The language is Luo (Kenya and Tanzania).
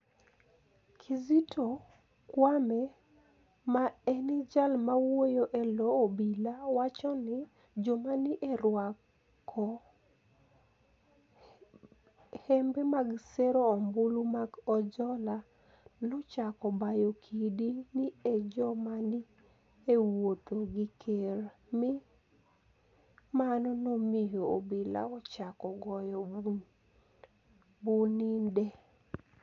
Kizito Kwame, ma eni jal mawuoyo e lo obila, wacho nii, joma ni e orwako hembe mag sero ombulu mag Ojola, nochako bayo kidi ni e joma ni e wuotho gi ker, mi mano nomiyo obila ochako goyo bunide.